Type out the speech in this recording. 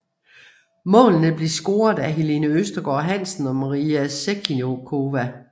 Målene blev scoret af Helene Østergaard Hansen og Maria Sevcikova